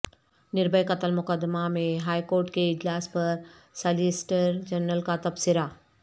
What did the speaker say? نربھئے قتل مقدمہ میںہائیکورٹ کے اجلاس پر سالیسیٹر جنرل کا تبصرہ